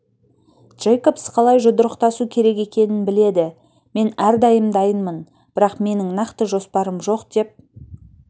джейкобс қалай жұдырықтасу керек екенін біледі мен әрдайым дайынмын бірақ менің нақты жоспарым жоқ деп